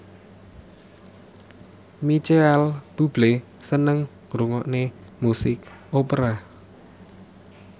Micheal Bubble seneng ngrungokne musik opera